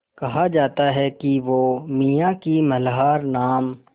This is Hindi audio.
कहा जाता है कि वो मियाँ की मल्हार नाम